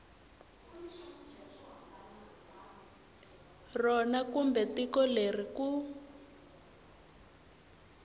rona kumbe tiko leri ku